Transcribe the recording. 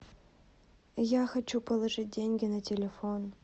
я хочу положить деньги на телефон